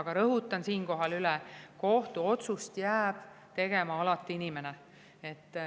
Aga rõhutan siinkohal üle, et kohtuotsust jääb tegema alati inimene.